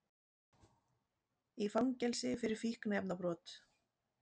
Í fangelsi fyrir fíkniefnabrot